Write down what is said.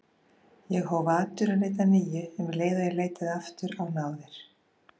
Ég hóf atvinnuleit að nýju um leið og ég leitaði aftur á náðir